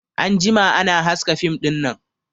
An jima ana haska fim dinnan